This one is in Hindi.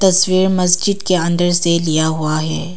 तस्वीर मस्जिद के अंदर से लिया हुआ है।